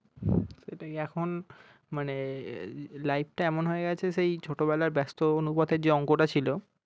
সেটাই এখন মানে life টা এমন হয়ে গেছে সেই ছোট বেলার ব্যস্ত অনুপাতের যে অংক টা ছিল